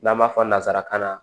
N'an b'a fɔ nanzarakan na